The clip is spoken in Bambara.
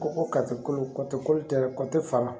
Ko ko kolo koto koli tɛ dɛ faga